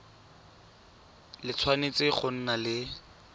le tshwanetse go nna le